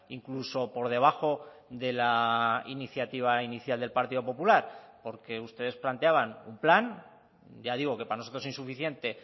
incluso por debajo de la iniciativa inicial del partido popular porque ustedes planteaban un plan ya digo que para nosotros insuficiente